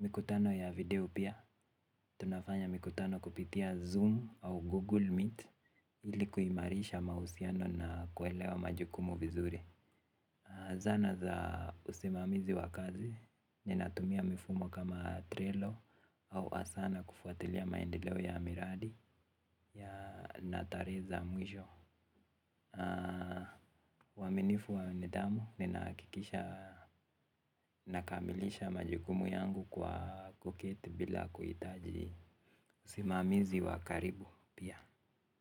Mikutano ya video pia. Tunafanya mikutano kupitia Zoom au Google Meet. Ili kuimarisha mausiano na kuelewa majukumu vizuri. Zana za usimamizi wa kazi. Ninatumia mifumo kama trelo au asa na kufuatilia maendelewo ya miradi ya natare za mwisho. Waminifu wa nidamu ninahakikisha nakamilisha majukumu yangu kwa kuketi bila kuitaji simamizi wakaribu pia.